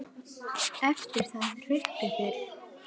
Eftir það hrukku þeir frá.